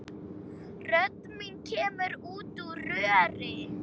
Rödd mín kemur út úr röri.